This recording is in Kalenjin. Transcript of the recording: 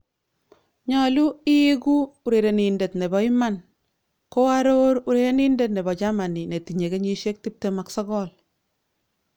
" Nyolu iigu urerenindet nebo iman."ko aror urerenindet nebo Germany netinye kenyisiek 29